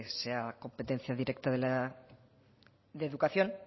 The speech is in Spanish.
sea competencia directa de educación